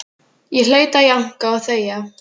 Ég hlaut að jánka og þegja.